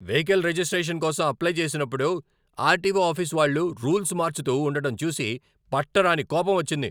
Vehicle registration కోసం apply చేసినప్పుడు RTO office వాళ్ళు రూల్స్ మార్చుతూ ఉండటం చూసి పట్టరాని కోపమొచ్చింది.